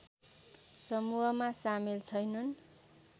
समूहमा सामेल छैनन्